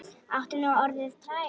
Áttu nú orðið tvær?